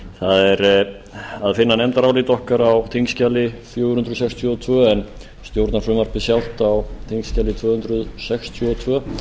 nefndarálit okkar er að finna á þingskjali fjögur hundruð sextíu og tvö en stjórnarfrumvarpið sjálft á þingskjali tvö hundruð sextíu og tvö